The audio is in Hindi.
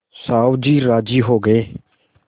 साहु जी राजी हो गये